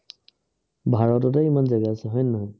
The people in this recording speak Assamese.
ভাৰততে ইমান জেগা আছে, হয় নে নহয়?